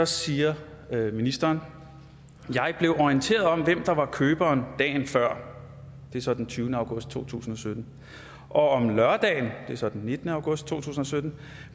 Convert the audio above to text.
siger ministeren jeg blev orienteret om hvem der var køberen dagen før det er så den tyvende august to tusind og sytten og om lørdagen det er så den nittende august to tusind og sytten